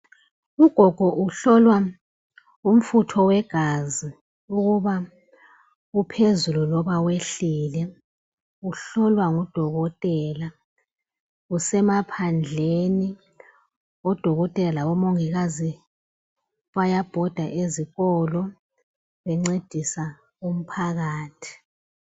Ugogo uhlolwa umfutho wegazi ukuba uphezulu loba wehlile, uhlolwa ngudokotela. Kusemaphandleni odokotela labomongikazi bayabhoda ezikolo bencedisa umphakathi.